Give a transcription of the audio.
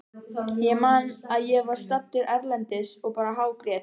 Ég man að ég var staddur erlendis og bara hágrét.